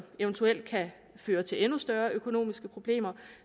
eventuelt kan føre til endnu større økonomiske problemer